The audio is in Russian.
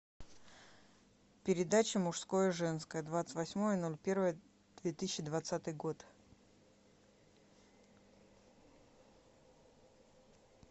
передача мужское женское двадцать восьмое ноль первое две тысячи двадцатый год